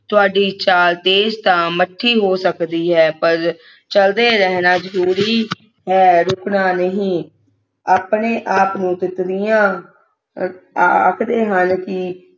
ਤੁਹਾਡੀ ਚਾਲ ਤੇਜ ਤਾਂ ਮੱਠੀ ਹੋ ਸਕਦੀ ਹੈ ਪਰ ਚਲਦੇ ਰਹਿਣਾ ਜਰੂਰੀ ਹੈ ਰੁਕਣਾ ਨਹੀਂ ਆਪਣੇ ਆਪ ਨੂੰ ਤਿਤਲੀਆਂ ਅਹ ਆਖਦੇ ਹਨ ਕਿ